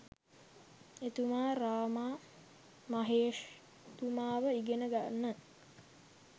එතුමා රාමා මහේෂ්තුමාව ඉගෙන ගන්න